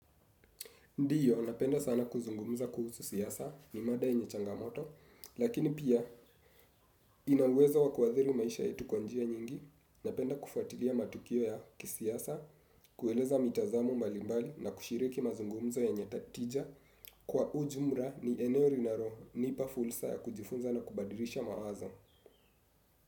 Ndiyo, napenda sana kuzungumuza kuhusu siasa ni mada yenye changamoto, lakini pia ina uwezo wa kuadhiri maisha yetu kwa njia nyingi, napenda kufuatilia matukio ya kisiasa, kueleza mitazamo mbalimbali na kushiriki mazungumzo yenye tija kwa ujumla ni eneo linalo nipa fursa ya kujifunza na kubadilisha mawazo.